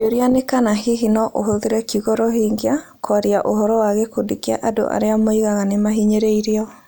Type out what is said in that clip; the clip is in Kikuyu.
Kĩũria nĩ kana hihi no ahũthĩre kiugo "Rohingya" kwaria ũhoro wa gĩkundi kĩa andũ arĩa moigaga nĩ mahinyĩrĩirio.